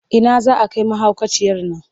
Ina za a kai mahaukaciyar nan?